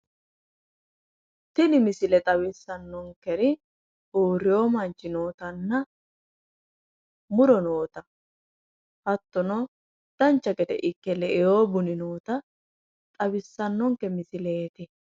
Tini misile xawissanonkeri uurreo manchi nootanna muro noota hattono dancha gede Ikke le"ewo buni nootta xawissannonke misileeti.